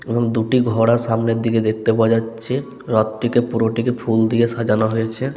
এবং দুটি ঘোড়া সামনের দিকে দেখতে পাওয়া যাচ্ছে রথ টিকে পুরোটিকে ফুল দিয়ে সাজানো হয়েছে।